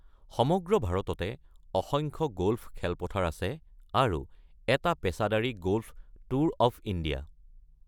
সমগ্ৰ ভাৰততে অসংখ্য গ'ল্ফ খেলপথাৰ আছে আৰু এটা পেছাদাৰী গলফ ট্যুৰ অৱ ইণ্ডিয়া।